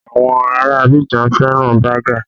Àwọn ará Abidjan fẹ́ràn bágà